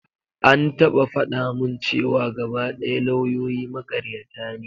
An taɓa faɗa mun cewa gaba ɗaya lawyoyi makaryata ne.